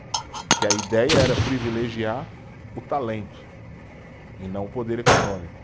Porque a ideia era privilegiar o talento e não o poder econômico.